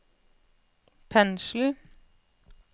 pensel